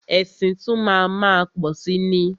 Ẹ̀sìn tún má a má pọ̀si ni.